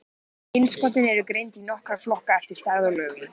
Innskotin eru greind í nokkra flokka eftir stærð og lögun.